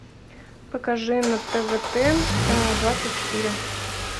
покажи на тв т двадцать четыре